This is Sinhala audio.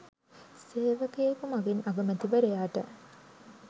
සේවකයෙකු මගින් අගමැතිවරයාට